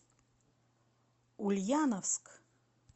ульяновск